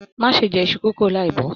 Má ṣe jẹ iṣu kókó láì bo!